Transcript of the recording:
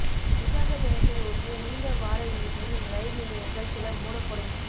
விசாக தினத்தை ஒட்டிய நீண்ட வாரயிறுதியில் ரயில் நிலையங்கள் சில மூடப்படும்